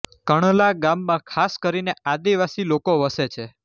કણલા ગામમાં ખાસ કરીને આદિવાસી લોકો વસે છે